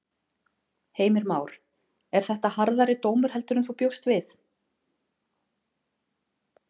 Heimir Már: Er þetta harðari dómur heldur en þú bjóst við?